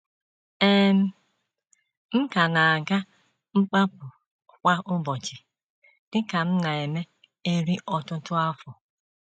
um M ka na - aga mkpapụ kwa ụbọchị, dị ka m na - eme eri ọtụtụ afọ.